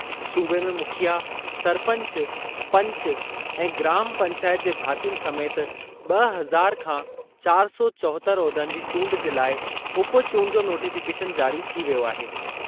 सूबे में मुखिया, सरपंच, पंच ऐं ग्राम पंचाइत जे भातियुनि समेति ॿ हज़ार खां चार सौ चोहतरि उहिदनि जी चूंडु जे लाइ उप चूंडु जो नॉटिफ़िकेशन जारी थी वियो आहे।